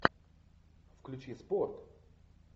включи спорт